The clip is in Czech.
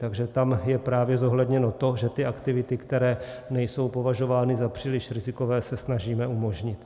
Takže tam je právě zohledněno to, že ty aktivity, které nejsou považovány za příliš rizikové se snažíme umožnit.